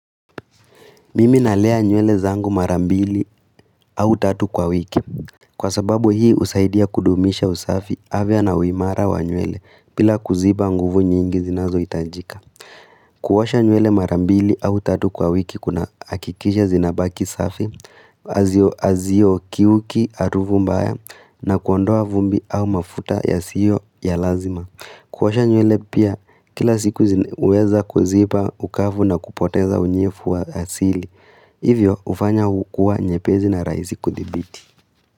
Mimi nalea nywele zangu marambili au tatu kwa wiki Kwa sababu hii usaidia kudumisha usafi afya na uimara wa nywele pila kuziba nguvu nyingi zinazo itajika. Kuwasha nywele marambili au tatu kwa wiki kuna akikisha zinabaki safi azio azio kiuki aruvumbaya. Na kuondoa vumbi au mafuta ya sio ya lazima kuwasha nywele pia kila siku uweza kuziba ukafu na kupoteza unyefu wa asili. Hivyo ufanya ukua nyepezi na raizi kudibiti.